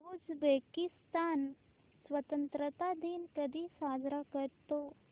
Uzbekistan स्वतंत्रता दिन कधी साजरा करतो